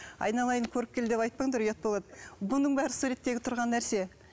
айналайын көріпкел деп айтпаңдар ұят болады бұның бәрі суреттегі тұрған нәрсе